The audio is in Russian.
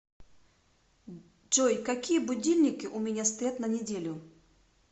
джой какие будильники у меня стоят на неделю